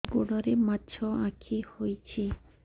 ଗୋଡ଼ରେ ମାଛଆଖି ହୋଇଛି